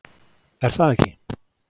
Er það ekki?